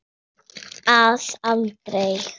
Blýið er aftur búið.